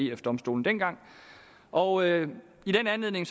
ef domstolen dengang og i den anledning